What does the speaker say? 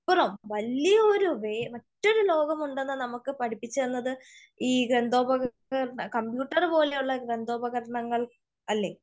അപ്പുറം വലിയ ഒരു മറ്റൊരു ലോകമുണ്ടെന്ന് നമുക്ക് പടിപ്പിച്ച് തന്നത് ഈ യന്ത്ര ഉപകരണങ്ങൾ കമ്പ്യൂട്ടർ പോലെ ഉള്ള യന്ത്ര ഉപകരണങ്ങൾ അല്ലേ?